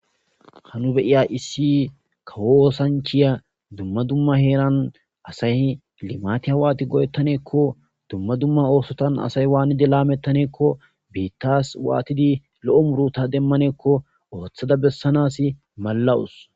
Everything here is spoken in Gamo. hanu beiya issi kawoosanchiya dumma dumma heeran asay limati hawaati go7ettaneekko dumma dumma oosotan asay waanide laamettaneekko biittas waatidi lo7o muruta demmaneekko ooththada bessanas malawus